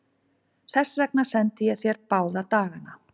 Þess vegna sendi ég þér báða dagana.